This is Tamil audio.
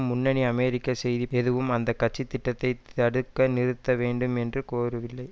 முன்னணி அமெரிக்க செய்தி அந்த திட்டத்தை தடுத்க நிறுத்த வேண்டும் என்று கோரவில்லை